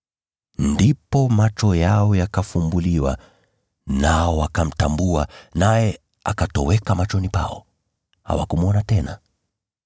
Ndipo macho yao yakafumbuliwa, nao wakamtambua, naye akatoweka machoni pao. Hawakumwona tena.